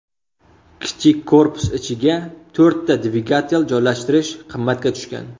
Kichik korpus ichiga to‘rtta dvigatel joylashtirish qimmatga tushgan.